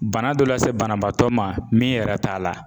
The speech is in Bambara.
Bana dɔ lase banabaatɔ ma min yɛrɛ t'a la